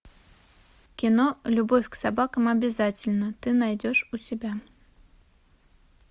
кино любовь к собакам обязательна ты найдешь у себя